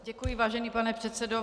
Děkuji, vážený pane předsedo.